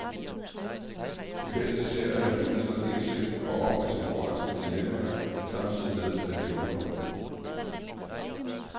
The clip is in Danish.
De bedste serier formidler indsigt og opridser moralske dilemmaer, samtidig med at de underholder.